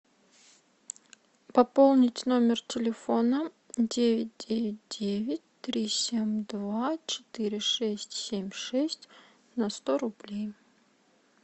пополнить номер телефона девять девять девять три семь два четыре шесть семь шесть на сто рублей